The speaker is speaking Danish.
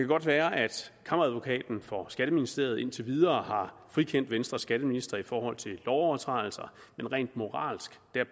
godt være at kammeradvokaten for skatteministeriet indtil videre har frikendt venstres skatteministre i forhold til lovovertrædelser men rent moralsk